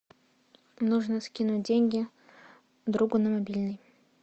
нужно скинуть деньги другу на мобильный